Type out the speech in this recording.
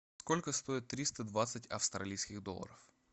сколько стоит триста двадцать австралийских долларов